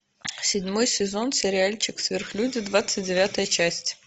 седьмой сезон сериальчик сверхлюди двадцать девятая часть